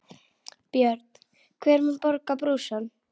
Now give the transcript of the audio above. Björn: Hver mun borga brúsann?